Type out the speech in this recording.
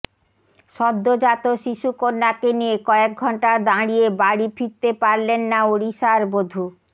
সদ্যোজাত শিশুকন্যাকে নিয়ে কয়েক ঘন্টা দাঁড়িয়ে বাড়ি ফিরতে পারলেন না ওড়িশার বধূ